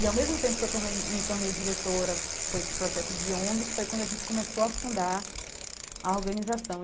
E ao mesmo tempo que eu tomei me tornei diretora com esse projeto de ONGs, foi quando a gente começou a fundar a organização.